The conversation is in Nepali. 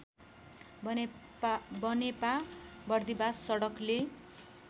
बनेपा बर्दिबास सडकले